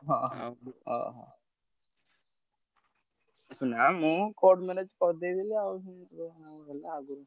ହଁ, ହଁ। ନା ମୁଁ court marriage କରିଦେବି ବୋଲି ଆଉ ।